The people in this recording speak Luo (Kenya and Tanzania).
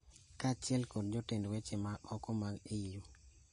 kaachiel kod jotend weche ma oko mag EU